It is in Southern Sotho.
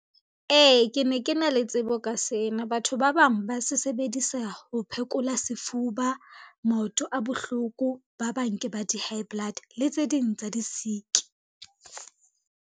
Ee, ke ne ke na le tsebo ka sena, batho ba bang ba se sebedisa ho phekola sefuba, maoto a bohloko, ba bang ke ba di-high blood le tse ding tsa disiki.